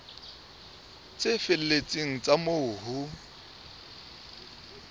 tse felletseng tsa moo ho